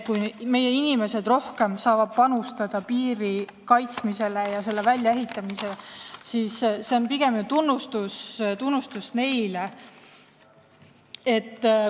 Kui meie inimesed saavad rohkem panustada piiri kaitsmisesse ja selle väljaehitamisesse, siis see on pigem tunnustus neile.